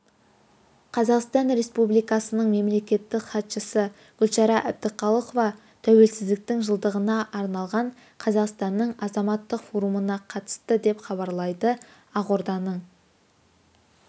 қазақстан республикасының мемлекеттік хатшысы гүлшара әбдіқалықова тәуелсіздіктің жылдығына арналған қазақстанның азаматтық форумына қатысты деп хабарлайды ақорданың